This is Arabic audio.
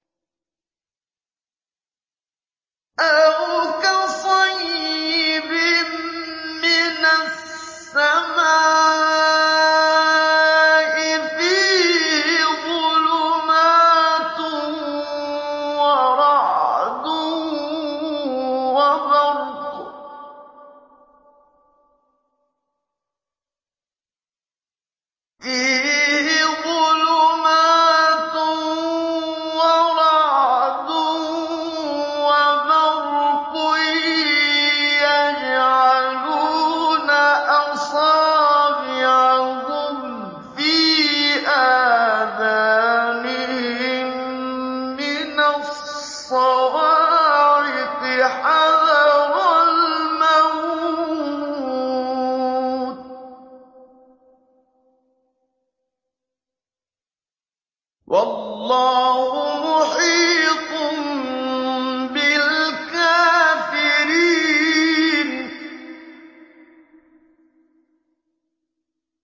أَوْ كَصَيِّبٍ مِّنَ السَّمَاءِ فِيهِ ظُلُمَاتٌ وَرَعْدٌ وَبَرْقٌ يَجْعَلُونَ أَصَابِعَهُمْ فِي آذَانِهِم مِّنَ الصَّوَاعِقِ حَذَرَ الْمَوْتِ ۚ وَاللَّهُ مُحِيطٌ بِالْكَافِرِينَ